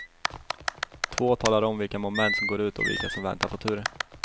Två talar om vilka moment som går ut och vilka som väntar på tur.